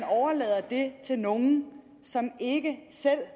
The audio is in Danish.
det til nogle som ikke selv